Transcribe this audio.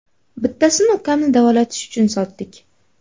Bittasini ukamni davolatish uchun sotdik.